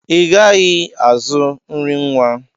I gaghị azụ nri nwa!